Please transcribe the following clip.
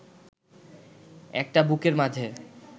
একটা বুকের মাঝে